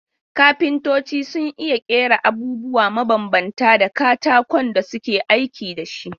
Kafintoci sun iya ƙera abubwa mabambanta da katakon da suke aiki da shi.